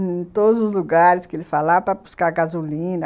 em todos os lugares que ele falava para buscar gasolina.